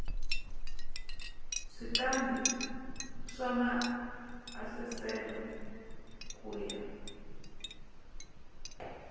switandati swa maasesele ku ya